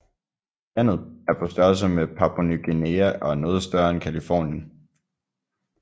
Landet er på størrelse med Papua Ny Guinea og er noget større end Californien